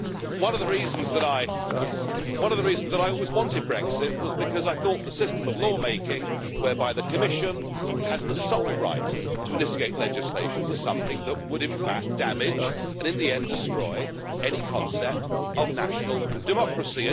One of the reasons why I always wanted Brexit was because I thought the system of law making whereby the Commission has the sole right to initiate legislation was something that would in fact damage, and in the end destroy, any concept of national democracy.